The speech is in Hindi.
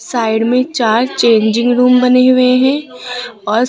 साइड में चार चेंजिंग रूम बने हुए हैं और --